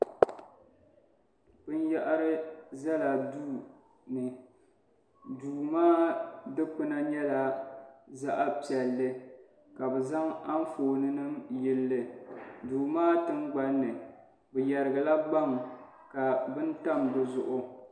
Binyɛhiri zala duu ni duu maa dukpuna nyɛla zaɣ'piɛlli ka bɛ zaŋ anfooninima yili li duu maa tingbani ni bɛ yɛrigila gbaŋ ka bini tam di zuɣu.